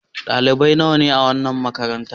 Dalibai nawa ne a wannan makarantar.